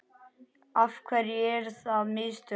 Af hverju eru það mistök?